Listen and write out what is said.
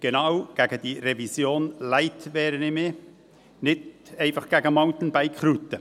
Genau gegen diese «Revision Light» wehre ich mich – nicht einfach gegen Mountainbike-Routen.